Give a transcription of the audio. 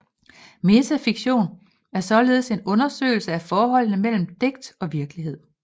Metafiktion er således en undersøgelse af forholdet mellem digt og virkelighed